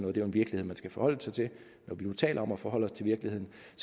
er jo en virkelighed man skal forholde sig til når vi nu taler om at forholde os til virkeligheden